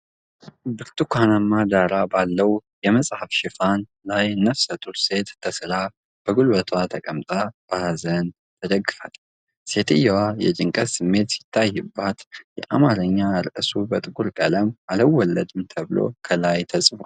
ብርቱካናማ ዳራ ባለው የመጽሐፍ ሽፋን ላይ ነፍሰ ጡር ሴት ተስላ በጉልበቷ ተቀምጣ በሀዘን ተደግፋለች። ሴትየዋ የጭንቀት ስሜት ሲታይባት፣ የአማርኛ ርዕሱ በጥቁር ቀለም "አልወለድም" ተብሎ ከላይ ተጽፏል።